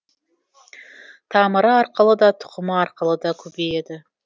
тамыры арқылы да тұқымы арқылы да көбейеді